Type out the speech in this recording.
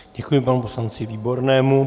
Děkuji panu poslanci Výbornému.